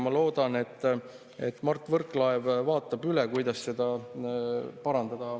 Ma loodan, et Mart Võrklaev vaatab üle, kuidas oleks võimalik seda parandada.